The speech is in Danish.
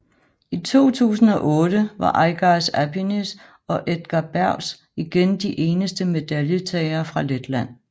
I 2008 var Aigars Apinis og Edgars Bergs igen de eneste medaljetagere fra Letland